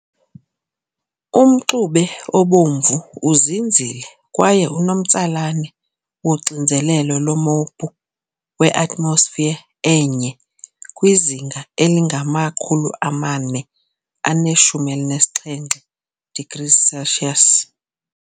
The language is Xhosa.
Umxube obomvu uzinzile kwaye unomtsalane woxinzelelo lomophu we-atmosphere e-1 kwizinga elingama- 417 degrees Celsius.